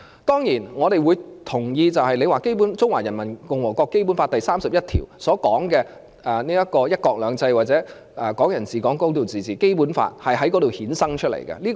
當然，我們同意，《中華人民共和國基本法》第三十一條所訂明的"一國兩制"或"港人治港"、"高度自治"，《基本法》都是由《憲法》衍生出來的。